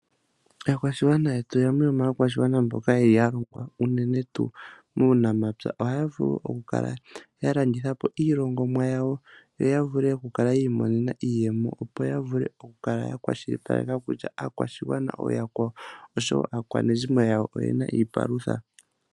Aakwashigwana yetu yamwe yomaakwashigwana mboka haya longwa unene tuu muunamapya. Ohaya vulu okulandithapo iilongomwa yawo, yo yavule okukala yiimonena iiyemo, opo ya vule okukala yakwashilipaleka kutya aakwashigwana oshowoo aakwanezimo oyaakwawo oyena iipalutha.